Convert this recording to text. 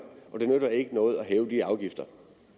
det nytter ikke noget at hæve de afgifter